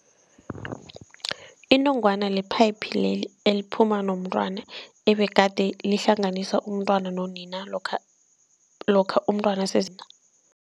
Inongwana li-pipe leli eliphuma nomntwana ebegade lihlanganisa umntwana nonina lokha lokha umntwana